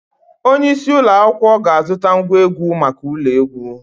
Onye isi ụlọ akwụkwọ ga-azụta ngwa egwu maka ụlọ egwu.